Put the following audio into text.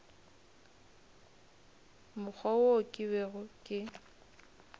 mokgwa wo ke bego ke